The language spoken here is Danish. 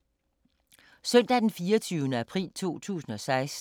Søndag d. 24. april 2016